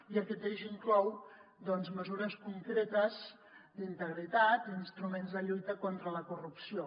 i aquest eix inclou doncs mesures concretes d’integritat i d’instruments de lluita contra la corrupció